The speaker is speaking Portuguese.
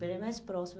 Bem mais próximo.